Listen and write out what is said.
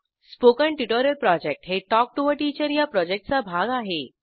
spoken tutorial project हे talk to teacher या प्रॉजेक्टचा भाग आहे